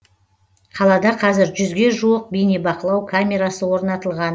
қалада қазір жүзге жуық бейнебақылау камерасы орнатылған